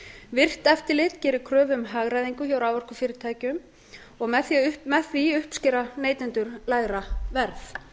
virkt eftirlit gerir kröfu um hagræðingu hjá raforkufyrirtækjum og með því uppskera neytendur lægra verð